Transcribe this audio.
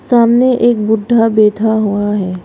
सामने एक बुड्ढा बैठा हुआ है।